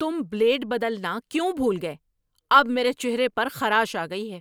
تم بلیڈ بدلنا کیوں بھول گئے؟ اب میرے چہرے پر خراش آ گئی ہے!